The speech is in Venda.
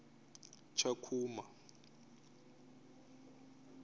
tshakhuma